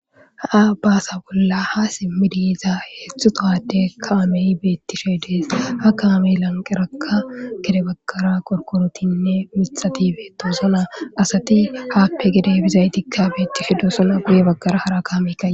a baasa bolla ha simmidiyiza heeththutohade kaameyi beettishe dees ha kaame lanqerakka gede baggara qorkorotinne mitxatibe tosona asati haappe gide bizaytikka beettishe dusona guye baggara hara kaamekka